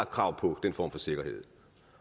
krav på den form for sikkerhed